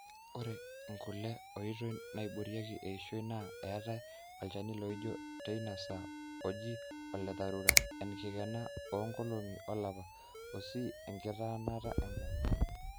ore nkule oitoi naaiboorieki eishoi na eetai olchani liijoo teina saa oji ole dharura, enkikena oonkolong'i olapa, osii enkitanaata enkerai